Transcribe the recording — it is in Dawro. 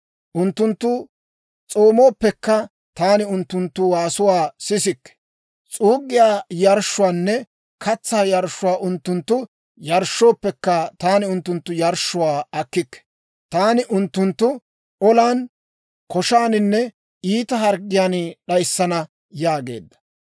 Unttunttu s'oomooppekka, taani unttunttu waasuwaa sisikke. S'uuggiyaa yarshshuwaanne katsaa yarshshuwaa unttunttu yarshshooppekka, taani unttunttu yarshshuwaa akkikke. Taani unttunttu olan, koshaaninne iita harggiyaan d'ayissana» yaageedda.